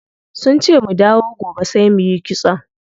Sunce mu dawo gobe sai muyi kitson.